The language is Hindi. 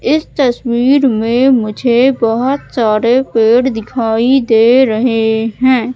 इस तस्वीर में मुझे बहोत सारे पेड़ दिखाई दे रहे हैं।